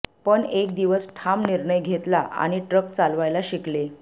पण एक दिवस ठाम निर्णय घेतला आणि ट्रक चालवायला शिकले